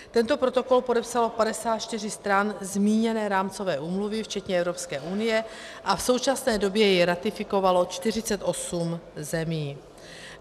Tento protokol podepsalo 54 stran zmíněné rámcové úmluvy včetně Evropské unie a v současné době jej ratifikovalo 48 zemí.